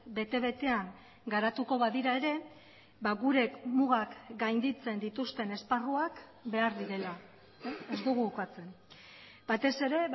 bete betean garatuko badira ere gure mugak gainditzen dituzten esparruak behar direla ez dugu ukatzen batez ere